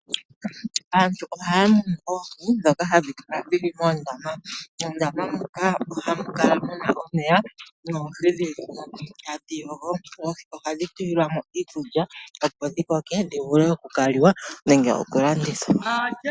Aantu ohaya munu oohi ndhoka hadhi kala dhili moondama. Moondama muka ohamu kala muna omeya noohi dhili tadhi yogo. Oohi ohadjhi tulilwamo iikulya opo dhi koke dhivule okukaliwa nenge okulandithwa.